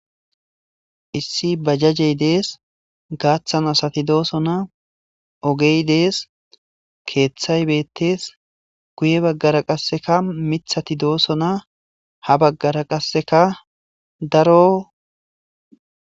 issi ba jajey dees gaaththan asati doosona ogey dees keeththay beettes guye baggara qasseka mithati dooso na ha baggara qasseka daro